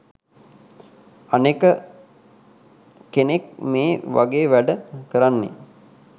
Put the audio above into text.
අනෙක කෙනෙක් මේ වගේ වැඩ කරන්නේ